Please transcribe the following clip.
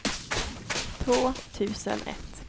två tusen ett